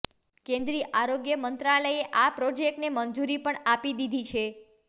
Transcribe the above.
કેન્દ્રી આરોગ્ય મંત્રાલયે આ પ્રોજેક્ટને મંજુરી પણ આપી દીધી છે